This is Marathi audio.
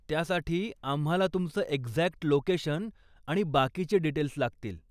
त्यासाठी, आम्हाला तुमचं एक्झॅक्ट लोकेशन आणि बाकीचे डीटेल्स लागतील.